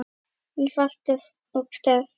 einfalt og sterkt.